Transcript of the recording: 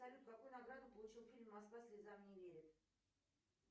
салют какую награду получил фильм москва слезам не верит